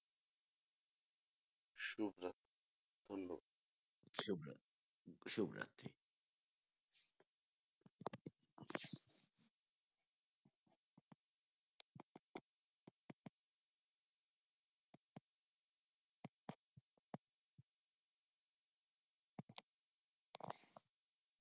শুভরা শুভরাত্রি।